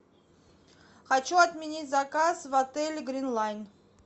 хочу отменить заказ в отеле грин лайн